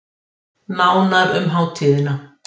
Nánar um hátíðina